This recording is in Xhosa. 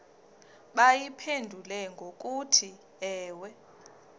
bayiphendule ngokuthi ewe